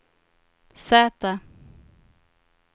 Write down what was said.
Z